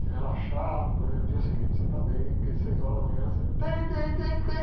Você relaxar, para poder no dia seguinte você estar bem, porque às seis horas da manhã você...